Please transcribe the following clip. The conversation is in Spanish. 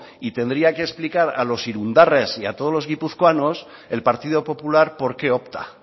y tendría que explicar a los irundarras y a todos los guipuzcoanos el partido popular por qué opta